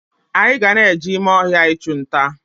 Anyị ga-eje ime ọhịa ịchunta